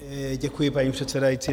Děkuji, paní předsedající.